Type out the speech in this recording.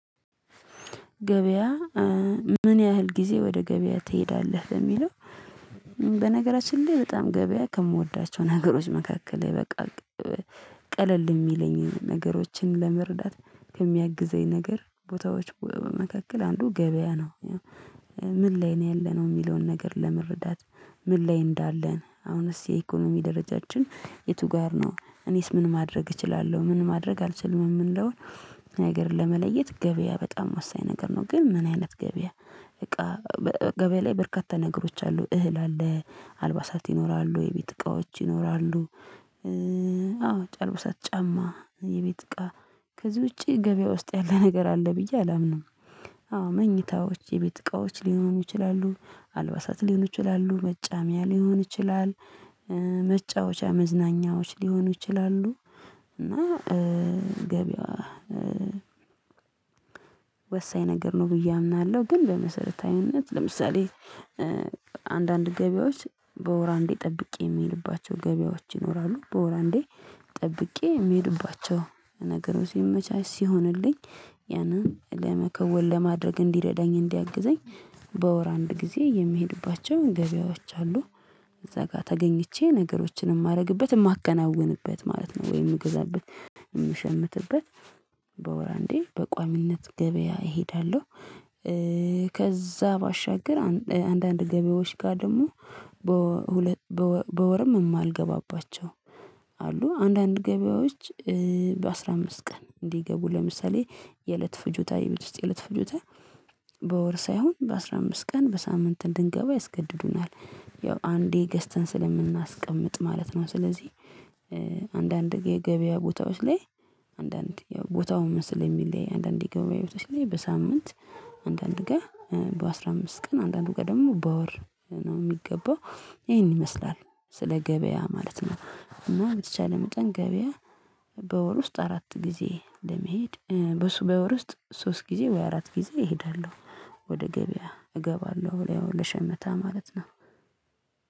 ገበያ ምን ያህል ጊዜ ወደ ገበያ ትሄዳለህ በሚለው? በነገራችን ላይ በጣም ገበያ ከምወዳቸው ነገሮች መካከል በቃ ቀለል የሚለኝን ነገሮችን ለመረዳት ከሚያግዘኝ ነገር ቦታዎች በመካከል አንዱ ገበያ ነው። ምን ላይ ነው ያለነው የሚለውን ነገር ለመረዳት ምን ላይ እንዳለን አሁንስ የኢኮኖሚ ደረጃችን የቱ ጋር ነው እኔስ ምን ማድረግ እችላለሁ ምን ማድረግ አልችልም የምንለው። ሀገርን ለመለየት ገበያ በጣም ወሳኝ ነገር ነው ግን ምን አይነት ገበያ እቃ ገበያ ላይ በርካታ ነገሮች አሉ እህል አለ አልባሳት ይኖራሉ የቤት እቃዎች ይኖራሉ። አዎ ጫማ አልብሳት ጫማ የቤት እቃ ከዚህ ውጪ ገበያ ውስጥ ያለ ነገር አለ ብዬ አላምንም። አዎ መኝታዎች የቤት እቃዎች ሊሆኑ ይችላሉ አልባሳት ሊሆኑ ይችላሉ መጫሚያ ሊሆን ይችላል። መጫወቻ መዝናኛዎች ሊሆኑ ይችላሉ። እና ገበያ ወሳኝ ነገር ነው ብዬ አምናለሁ። ግን በመሰረታዊነት ለምሳሌ አንዳንድ ገበያዎች በወር አንዴ ጠብቄ የምሄድባቸው ገበያዎች ይኖራሉ በወር አንዴ ጠብቄ የምሄድባቸው ነገሮች ሲመቻች ሲሆንልኝ ያንን ለመከወን ለማድረግ እንዲረዳኝ እንዲያግዘኝ በወር አንድ ጊዜ የምሄድባቸውን ገበያዎች አሉ። እዛ ጋር ተገኝቼ ነገሮችንም ማድረግበት የማከናውንበት ማለት ነው ወይ የምገዛበት የምሸምትበት በወር አንዴ በቋሚነት ገበያ እሄዳለሁ። ከዛ ባሻገር አንዳንድ ገበያዎች ጋር ደግሞ በወርም የማልገባባቸው አሉ። አንዳንድ ገበያዎች በአስራ አምስት ቀን እንዲገቡ ለምሳሌ የእለት ፍጆታ የቤት ውስጥ የእለት ፍጆታ በወር ሳይሆን በአስራ አምስት ቀን በሳምንት እንድንገባ ያስገድዱናል። ያው አንዴ ገዝተን ስለምናስቀምጥ ማለት ነው። ስለዚህ አንዳንድ የገበያ ቦታዎች ላይ አንዳንድ ያው ቦታውን ስለሚለያይ አንዳንድ ገበያ ቦታዎች ላይ በሳምንት አንዳንድ ጋር በአስራ አምስት ቀን አንዳንድ ጋ ደግሞ በወር ነው የሚገባው ይሄን ይመስላል ስለ ገበያ ማለት ነው። እና በተቻለ መጠን ገበያ በወር ውስጥ አራት ጊዜ እንደምሄድ በሱ በወር ውስጥ ሶስት ጊዜ ወይ አራት ጊዜ እሄዳለሁ። ወደ ገበያ እገባለሁ ወይ ያው ለሸመታ ማለት ነው።